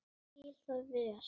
Ég skil það vel.